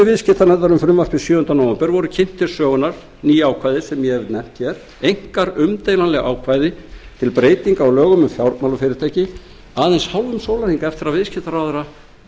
um frumvarpið sjöunda nóvember síðastliðinn voru kynnt til sögunnar ný og einkar umdeilanleg ákvæði til breytinga á lögum um fjármálafyrirtæki aðeins um hálfum sólarhring eftir að viðskiptaráðherra